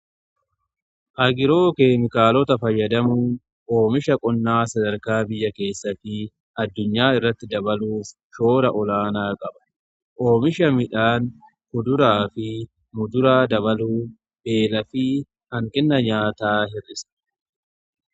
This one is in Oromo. Agiroo keemikaalota fayyadamuu oomisha qonnaa sadarkaa biyya keessa fi addunyaa irratti dabaluu shoora olaanaa qaba oomisha midhaan kuduraa fi muduraa dabaluu beela fi hanqina nyaataa hirrisa.